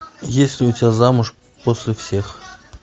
есть ли у тебя замуж после всех